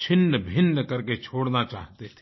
छिन्नभिन्न करके छोड़ना चाहते थे